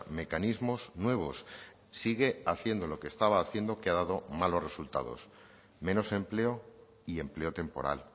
mecanismos nuevos sigue haciendo lo que estaba haciendo que ha dado malos resultados menos empleo y empleo temporal